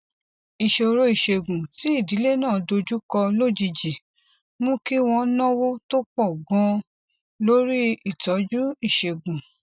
ìṣòro ìṣègùn tí ìdílé náà dojú kọ lójijì mú kí wón náwó tó pò ganan lórí ìtójú ìṣègùn